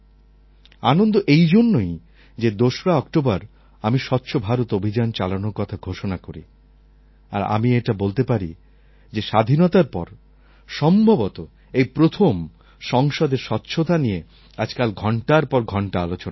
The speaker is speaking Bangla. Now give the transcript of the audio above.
আনন্দ এই জন্যই যে ২রা অক্টোবর আমি স্বচ্ছ ভারত অভিযান চালানোর কথা ঘোষণা করি আর আমি এটা বলতে পারি যে স্বাধীনতার পর সম্ভবত এই প্রথম সংসদে স্বচ্ছতা নিয়ে আজকাল ঘণ্টার পর ঘণ্টা আলোচনা চলে